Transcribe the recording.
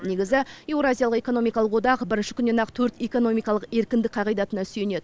негізі еуразиялық экономикалық одақ бірінші күннен ақ төрт экономикалық еркіндік қағидатына сүйенеді